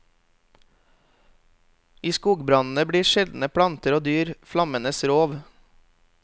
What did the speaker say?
I skogbrannene blir sjeldne planter og dyr flammenes rov.